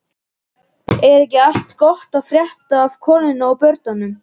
Er ekki allt gott að frétta af konunni og börnunum?